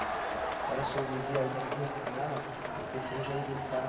Agora, se eu vivi algo ruim com ela, eu prefiro já evitar